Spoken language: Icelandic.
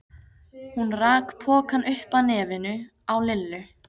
Hún rak pokann upp að nefinu á Lillu.